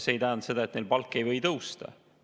See ei tähenda seda, et neil palk ei või tõusta.